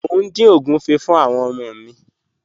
Mo ń din ogunfé̀ fún àwọn ọmọ mi.